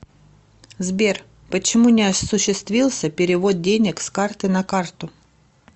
сбер почему не осуществился перевод денег с карты на карту